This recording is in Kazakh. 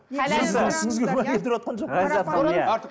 сіздің ісіңізге күмән келтіріватқан жоқпын